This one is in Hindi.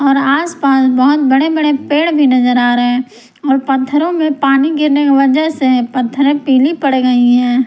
और आस पास बहोत बड़े बड़े पेड़ भी नजर आ रहे और पत्थरों में पानी गिरने की वजह से पत्थरे पीली पड़ गई हैं।